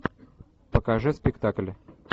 покажи спектакль